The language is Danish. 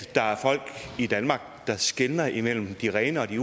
der er folk i danmark der skelner imellem de rene og de